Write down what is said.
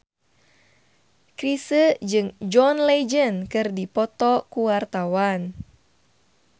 Chrisye jeung John Legend keur dipoto ku wartawan